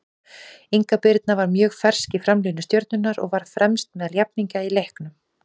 Inga Birna var mjög fersk í framlínu Stjörnunnar og var fremst meðal jafningja í leiknum.